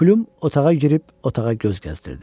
Plyum otağa girib otağa göz gəzdirdi.